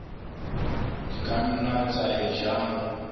di ka nna tsa eja